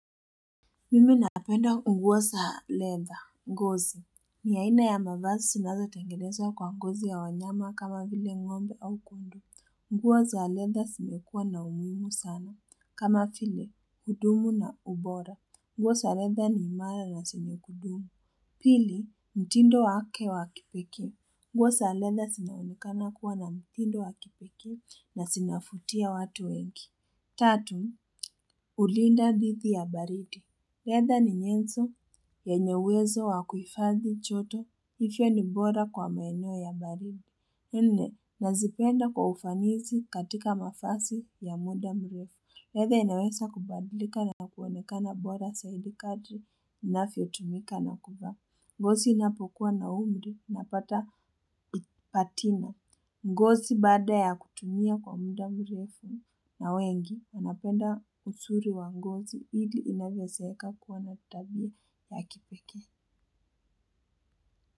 Mimi napenda nguo za leather, ngozi ni aina ya mavazi zinazo tengenezwa kwa ngozi ya wanyama kama vile ngombe au kondoo. Nguo za leather zimekuwa na umuhimu sana. Kama vile, huduma na ubora. Nguo za leather ni imara na zenye kudumu. Pili, mtindo wake wa kipekee. Nguo za leather zinaonekana kuwa na mtindo wa kipekee na zinavutia watu wengi. Tatu, hulinda dhidi ya baridi. Leather ni nyenzo yenye uwezo wa kuhifadhi joto, hivyo ni bora kwa maeneo ya baridi. Nne, nazipenda kwa ufanisi katika mavazi ya muda mrefu. Leather inaweza kubadilika na kuonekana bora zaidi kadri inavyotumika na kuvaa. Ngozi inapokuwa na umri unapata vipatino. Ngozi baada ya kutumia kwa muda mrefu na wengi. Napenda uzuri wa ngozi ili inavyozeeka kuwa na tabia ya kipekee.